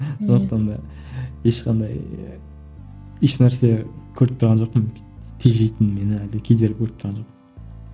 сондықта да ешқандай ешнәрсе көріп тұрған жоқпын тежейтін мені әлде кедергі көріп тұрған жоқпын